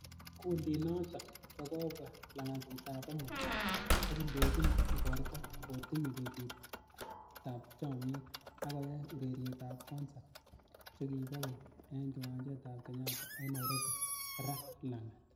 Kundinoton ko kobwa langatut ab amut, ak indoyin igorto kotinye betutab chomnyet ak koyai ureriet ak konsat chekibo keny en kiwanjetab Kenyatta en Nairobi raa langat.